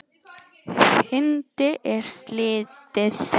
Fundi er slitið.